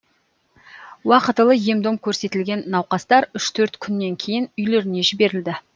уақытылы ем дом көрсетілген науқастар үш төрт күннен кейін үйлеріне жіберілді